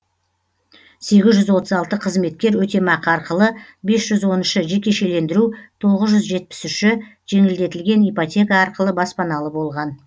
сегіз жүз отыз алты қызметкер өтемақы арқылы бес жүз он үші жекешелендіру тоғыз жүз жетпіс үші жеңілдетілген ипотека арқылы баспаналы болған